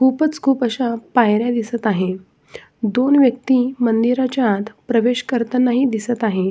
खुपच खुप आशा पायऱ्या दिसत आहेत दोन व्यक्ति मंदिराच्या आत प्रवेश करतानाही दिसत आहेत.